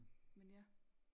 Men ja